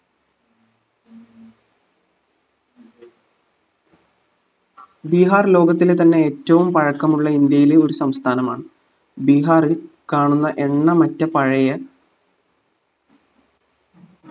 ബീഹാർ ലോകത്തിലെ തന്നെ ഏറ്റവും പഴക്കമുള്ള ഇന്ത്യയിലെ ഒരു സംസ്ഥാനമാണ് ബീഹാറിൽ കാണുന്ന എണ്ണമറ്റ പഴയ